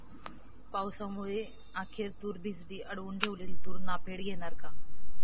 पावसामुळे अखेर तूर भिजली, अडवून ठेवलेली तूर नाफेड घेणार का?